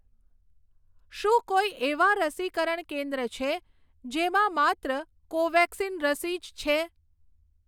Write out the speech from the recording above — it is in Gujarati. શું કોઈ એવાં રસીકરણ કેન્દ્ર છે જેમાં માત્ર કોવેક્સિન રસી જ છે?